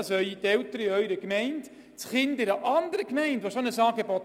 Dies wird auch zu einem Gerechtigkeitsproblem führen.